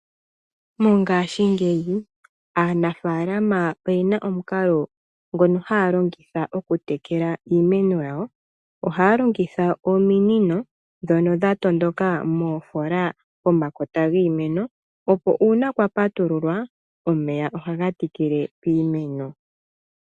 Mongaashingeyi aanafaalama oye na omukalo ngono haya longitha okutekela iimeno yawo. Ohaya longitha ominino ndhono dha tondoka moofola pomakota giimeno opo uuna kwa patululwa omeya ohaga tikile kiimeno.